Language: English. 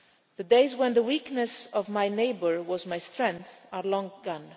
The days when the weakness of my neighbour was my strength are long gone.